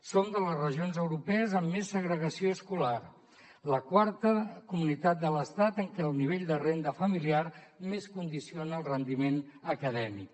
som de les regions europees amb més segregació escolar la quarta comunitat de l’estat en què el nivell de renda familiar més condiciona el rendiment acadèmic